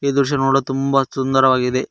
ಈ ದೃಶ್ಯ ನೋಡಲು ತುಂಬ ಸುಂದರವಾಗಿದೆ.